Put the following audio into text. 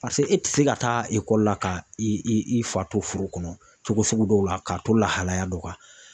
paseke e ti se ka taa la ka i fa to furu kɔnɔ cogo sugu dɔw la k'a to lahalaya dɔ Ka.